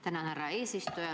Tänan, härra eesistuja!